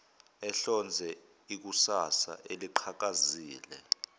ehlonze ikusasa eliqhakazile